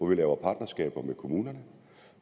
vi laver partnerskaber med kommunerne